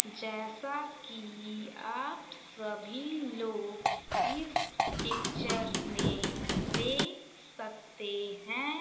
जैसा कि आप सभी लोग इस पिक्चर में देख सकते है।